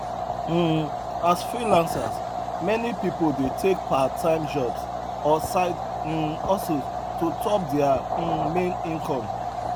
um as freelancers meni pipul dey take parttime jobs or side um hustles to top dia um main income